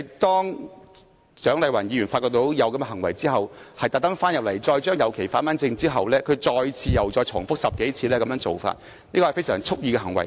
當蔣麗芸議員因發現這種行為而特地返回會議廳整理這些旗後，他再次重複這個動作10多次，屬蓄意行為。